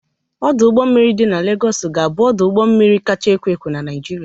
Ọdọ ụgbọ mmiri dị na Legọs ga-abụ ọdụ ụgbọ mmiri kacha ekwo ekwo na Naịjirịa.